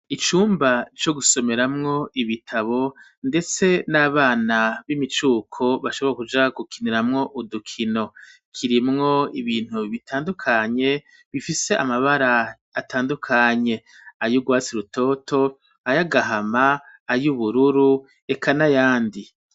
Icumba co gusomeramwo ibitabo ndetse n'abana b'imicuko bashobora kuja gukiniramwo udukino, kirimwo ibintu bitandukanye bifise amabara atandukanye ay'urwasi rutoto ay'agahama ay'ubururu eka nayandi.